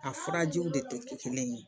A furajiw de tɛ kɛ kelen ye